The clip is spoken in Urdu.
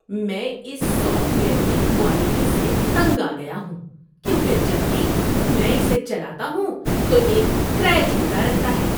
میں اس سافٹ ویئر کی کوالٹی سے تنگ آ گیا ہوں کیونکہ جب بھی میں اسے چلاتا ہوں تو یہ کریش ہوتا رہتا ہے۔